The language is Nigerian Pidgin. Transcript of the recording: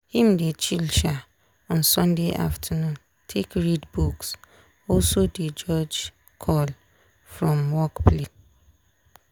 him dey chill um on sunday afternoon take read books also dey jorge call from work place.